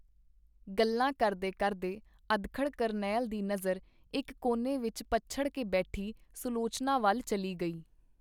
ਗੱਲਾਂ ਕਰਦੇ ਕਰਦੇ ਅਧਖੜ ਕਰਨੈਲ ਦੀ ਨਜ਼ਰ ਇਕ ਕੋਨੇ ਵਿਚ ਪਛੜ ਕੇ ਬੈਠੀ ਸੁਲਵੋਚਨਾ ਵਲ ਚੱਲੀ ਗਈ.